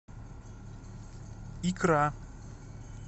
икра